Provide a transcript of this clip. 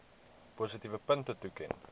positiewe punte toeken